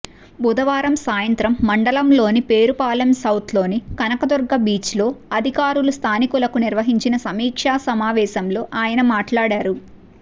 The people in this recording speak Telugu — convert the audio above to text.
బుధవారం సాయంత్రం మండలంలోని పేరుపాలెం సౌత్ లోని కనకదుర్గ బీచ్లో అధికారులు స్థానికులకు నిర్వహించిన సమీక్షా సమావేశంలో ఆయన మాట్లాడారు